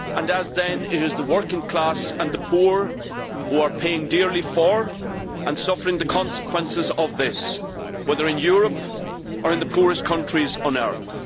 As then, it is the working class and the poor who are paying dearly for, and suffering the consequences of, this, whether in Europe or in the poorest countries on earth.